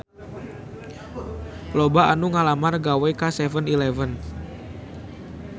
Loba anu ngalamar gawe ka 7-eleven